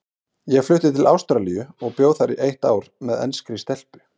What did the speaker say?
Ég flutti til Ástralíu og bjó þar eitt ár með enskri stelpu.